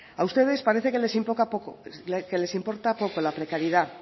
a ustedes parece que les importa poco la precariedad